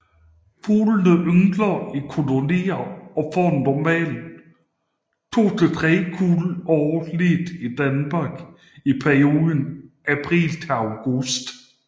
Fuglene yngler i kolonier og får normalt to til tre kuld årligt i Danmark i perioden april til august